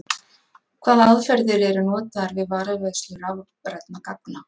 Hvaða aðferðir eru notaðar við varðveislu rafrænna gagna?